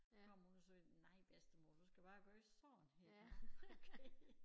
Kom hun og sagde nej bedstemor du skal bare gøre sådan her nåh okay